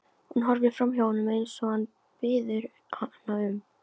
Hún horfir framhjá honum eins og hann biður hana um.